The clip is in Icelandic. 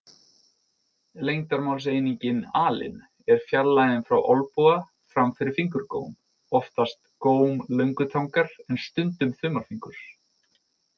Lengdarmálseiningin alin er fjarlægðin frá olnboga fram fyrir fingurgóm, oftast góm löngutangar en stundum þumalfingurs.